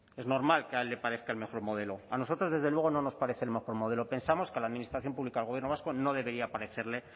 es normal que a él le parezca el mejor modelo a nosotros desde luego no nos parece el mejor modelo pensamos que a la administración pública del gobierno vasco no debería parecerle